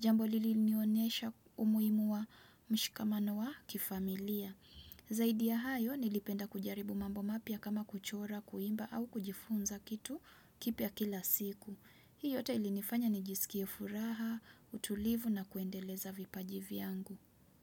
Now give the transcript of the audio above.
jambo lilinionesha umuhimu wa mshikamano wa kifamilia. Zaidi ya hayo nilipenda kujaribu mambo mapya kama kuchora, kuimba au kujifunza kitu kipya kila siku. Hii yote ilinifanya nijisikie furaha, utulivu na kuendeleza vipaji vyangu.